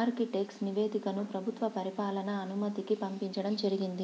architect నివేదికను ప్రభుత్వ పరిపాలనా అనుమతికి పంపించడం జరిగింది